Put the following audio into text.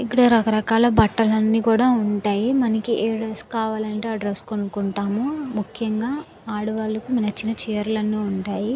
ఇక్కడ రకరకాల బట్టలు కూడా ఉంటాయి. మనకి అ డ్రెస్ కావాలి అంటే ఆ డ్రెస్ కొనుక్కోవచ్చు. ముఖ్యంగా ఆడవాళ్లకి నచ్చిన చీరలు అన్ని ఉంటాయి.